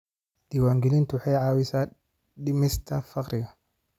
Diiwaangelintu waxay caawisaa dhimista faqriga.